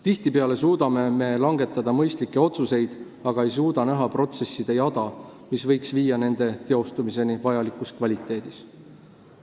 Tihtipeale suudame me langetada mõistlikke otsuseid, aga ei suuda näha protsesside jada, mis võiks viia nende teostumiseni vajalikus kvaliteedis.